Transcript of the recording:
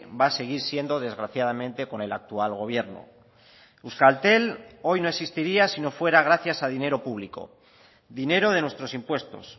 va a seguir siendo desgraciadamente con el actual gobierno euskaltel hoy no existiría si no fuera gracias a dinero público dinero de nuestros impuestos